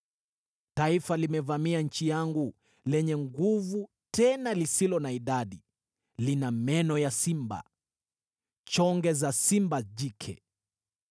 Taifa limevamia nchi yangu, lenye nguvu tena lisilo na idadi; lina meno ya simba, magego ya simba jike.